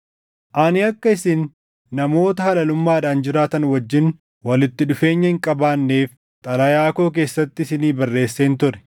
Ani akka isin namoota halalummaadhaan jiraatan wajjin walitti dhufeenya hin qabaanneef xalayaa koo keessatti isinii barreesseen ture;